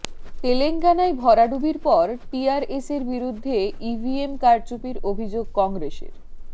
তেলেঙ্গানায় ভরাডুবির পর টিআরএসের বিরুদ্ধে ইভিএম কারচুপির অভিযোগ কংগ্রেসের